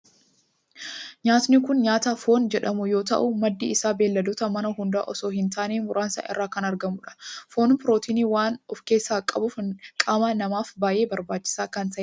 Nyaatni kun nyaata foon jedhamu yoo ta'u maddi isaa beelladoota manaa hunda osoo hin taane muraasa irraa kan argamudha. Foon pirootinii waan of keessaa qabuf qaama namaaf baayyee barbaachisaa kan ta'edha.